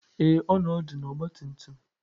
Ee, ọ nọ ọdụ na ọgbatumtum.